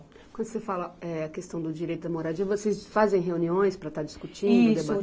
Quando você fala eh, a questão do direito da moradia, vocês fazem reuniões para estar discutindo. Isso.